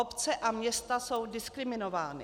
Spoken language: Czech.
Obce a města jsou diskriminovány.